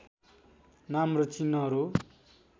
नाम र चिह्नहरू